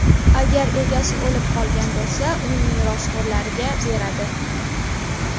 Agar egasi o‘lib qolgan bo‘lsa, uning merosxo‘rlariga beradi.